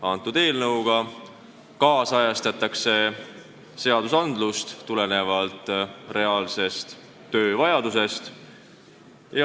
Selle eelnõuga ajakohastatakse seadust tulenevalt reaalse töö vajadustest.